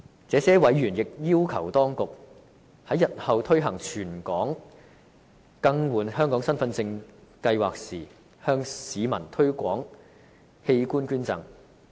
這些委員亦要求當局，在日後推行全港更換香港身份證計劃時，向市民推廣器官捐贈。